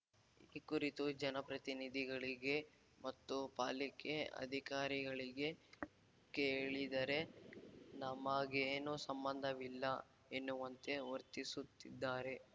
ಈ ಕುರಿತು ಜನಪ್ರತಿನಿಧಿಗಳಿಗೆ ಮತ್ತು ಪಾಲಿಕೆ ಅಧಿಕಾರಿಗಳಿಗೆ ಕೇಳಿದರೆ ನಮಗೇನೂ ಸಂಬಂಧವಿಲ್ಲ ಎನ್ನುವಂತೆ ವರ್ತಿಸುತ್ತಿದ್ದಾರೆ